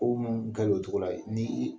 Ko mun kɛ o cogo la ni i